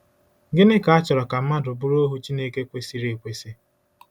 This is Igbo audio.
Gịnị ka a chọrọ ka mmadụ bụrụ ohu Chineke kwesịrị ekwesị?